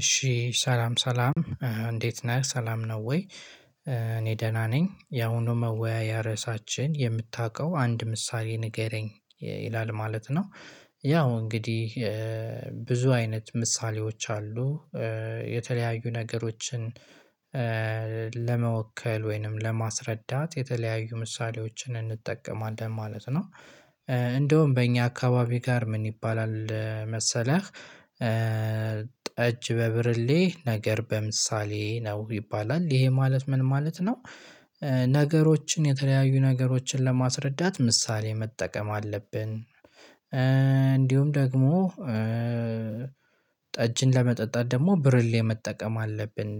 እሺ ሰላም ሰላም እንዴት ነህ ሰላም ነው ወይ? እኔ ደህና ነኝ ያውኑ መወያያ ርዕሳችን የምታውቀው አንድ ምሳሌ ንገረኝ ይላል ማለት ነው። ያው እንግዲህ ይላል ማለት ነው። ያው እንግዲህ ለመወከል ወይንም ለማስረዳት የተለያዩ ምሳሌዎችን እንጠቀማለን ማለት ነው። እንደውም በእኛ አካባቢ ጋር ምን ይባላል መሰለህ? ጠጅ በብርሌ ነገር በምሳሌ ነው ይባላል ይሄ ማለት ምን ማለት ነው? ነገሮችን የተለያዩ ነገሮችን ለማስረዳት ምሳሌ መጠቀም አለብን። እንዲሁም ደግሞ ጠጅን ለመጠጣት ደግሞ ብርሌ መጠቀም አለብን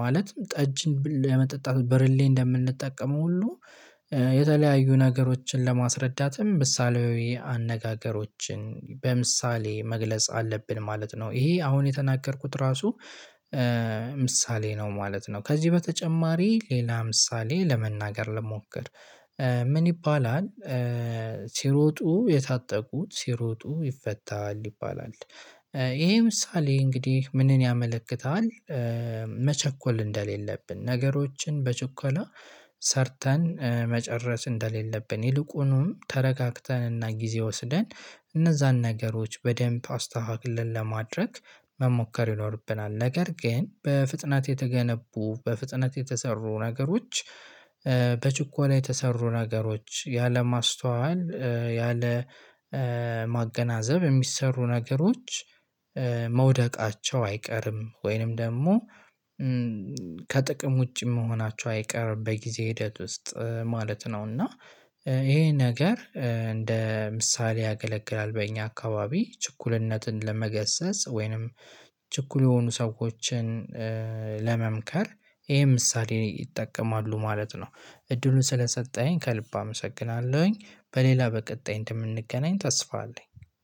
ማለትም ጠጅን ለመጠጣት ብርሌ እንደምንጠቀመው ሁሉ። የተለያዩ ነገሮችን ለማስረዳትም ምሳሌያዊ አነጋገሮችን በምሳሌ መግለጽ አለብን ማለት ነው። ይሄ አሁን የተናገርኩት ራሱ ምሳሌ ነው ማለት ነው። ከዚህ በተጨማሪ ሌላ ምሳሌ ለመናገር ልሞክር። ምን ይባላል? ሲሮጡ የታጠቁት ሲሮጡ ይፈታል ይባላል። ይሄ ምሳሌ እንግዲህ ምንን ያመለክታል? መቸኮል እንደሌለብን ነገሮችን በቹኮላ ሰርተን መጨረስ እንደሌለብን ይልቁኑም ተረጋግተንና ጊዜ ወስደን እነዛን ነገሮች በደንብ አስተካክለን ለማድረግ መሞከር ይኖርብናል። ነገር ግን በፍጥነት የተገነቡ በፍጥነት የተሰሩ ነገሮች። በችኮላ የተሰሩ ነገሮች ያለማስተዋል ያለማገናዘብ የሚሰሩ ነገሮች። መውደቃቸው አይቀርም ወይንም ደግሞ ከጥቅም ውጪ መሆናቸው አይቀር በጊዜ ሂደት ውስጥ ማለት ነው። እና ይሄ ነገር እንደ ምሳሌ ያገለግላል በእኛ አካባቢ ችኩልነትን ለመገሰጽ ወይንም ችኩል የሆኑ ሰዎችን ለመምከር ይሄ ምሳሌ ይጠቀማሉ ማለት ነው። እድሉን ስለሰጠኝ ከልብ አመሰግናለሁኝ። በሌላ በቀጣይ እንደምንገናኝ ተስፋ አለኝ።